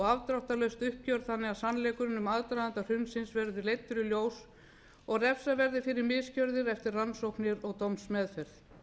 afdráttarlaust uppgjör þannig að sannleikurinn um aðdraganda hrunsins verði leiddur í ljós og refsað verði fyrir misgerðir eftir rannsóknir og dómsmeðferð